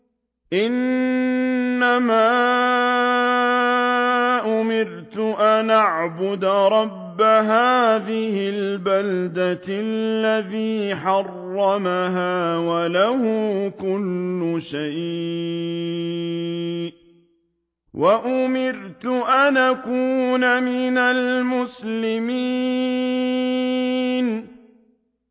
إِنَّمَا أُمِرْتُ أَنْ أَعْبُدَ رَبَّ هَٰذِهِ الْبَلْدَةِ الَّذِي حَرَّمَهَا وَلَهُ كُلُّ شَيْءٍ ۖ وَأُمِرْتُ أَنْ أَكُونَ مِنَ الْمُسْلِمِينَ